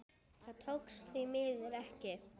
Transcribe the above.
Það tókst því miður ekki.